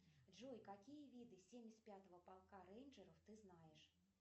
джой какие виды семьдесят пятого полка рейнджеров ты знаешь